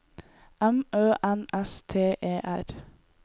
M Ø N S T E R